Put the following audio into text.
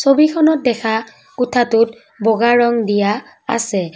ছবিখনত দেখা কোঠাটোত বগা ৰং দিয়া আছে।